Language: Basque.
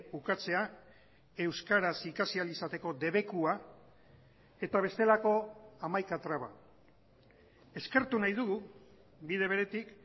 ukatzea euskaraz ikasi ahal izateko debekua eta bestelako hamaika traba eskertu nahi dugu bide beretik